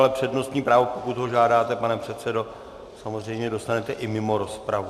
Ale přednostní právo, pokud ho žádáte, pane předsedo, samozřejmě dostanete i mimo rozpravu.